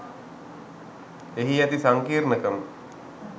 එහි ඇති සංකීර්ණකම